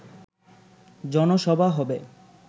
জনসভা হবে